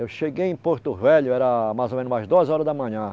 Eu cheguei em Porto Velho, era mais ou menos umas duas horas da manhã.